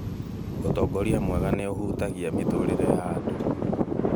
Ũtongoria mwega nĩ ũhutagia mĩtũrire ya andũ